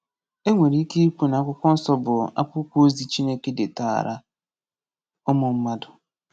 E nwere ike ikwu na Akwụkwọ Nsọ bụ akwụkwọ ozi Chineke detaara ụmụ mmadụ.